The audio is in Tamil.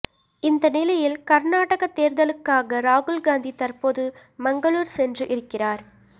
இந்த நிலையில் கர்நாடக தேர்தலுக்காக ராகுல் காந்தி தற்போது மங்களூர் சென்று இருக்கிறார்